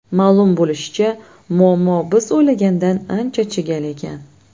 Ma’lum bo‘lishicha, muammo biz o‘ylagandan ancha chigal ekan.